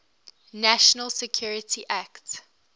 national security act